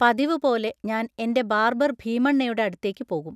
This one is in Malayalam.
പതിവുപോലെ ഞാൻ എൻ്റെ ബാർബർ ഭീമണ്ണയുടെ അടുത്തേക്ക് പോകും.